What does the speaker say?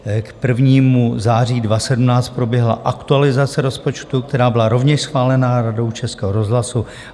K 1. září 2017 proběhla aktualizace rozpočtu, která byla rovněž schválena Radou Českého rozhlasu.